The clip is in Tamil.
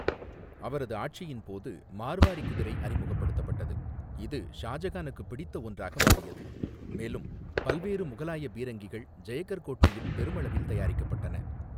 அவரது ஆட்சியின் போது, மார்வாரி குதிரை அறிமுகப்படுத்தப்பட்டது, இது ஷாஜகானுக்கு பிடித்த ஒன்றாக மாறியது, மேலும் பல்வேறு முகலாய பீரங்கிகள் ஜெயகர் கோட்டையில் பெருமளவில் தயாரிக்கப்பட்டன.